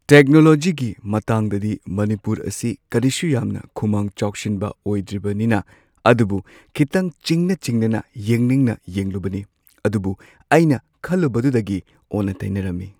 ꯇꯦꯛꯅꯣꯂꯣꯖꯤꯒꯤ ꯃꯇꯥꯡꯗꯗꯤ ꯃꯅꯤꯄꯨꯔ ꯑꯁꯤ ꯀꯔꯤꯁꯨ ꯌꯥꯝꯅ ꯈꯨꯃꯥꯡ ꯆꯥꯎꯁꯤꯟꯕ ꯑꯣꯏꯗ꯭ꯔꯤꯕꯅꯤꯅ ꯑꯗꯨꯕꯨ ꯈꯤꯇꯪ ꯆꯤꯡꯅ ꯆꯤꯡꯅꯅ ꯌꯦꯡꯅꯤꯡꯅ ꯌꯦꯡꯂꯨꯕꯅꯤ ꯑꯗꯨꯕꯨ ꯑꯩꯅ ꯈꯜꯂꯨꯕꯗꯨꯗꯒꯤ ꯑꯣꯟꯅ ꯇꯩꯅꯔꯝꯃꯤ꯫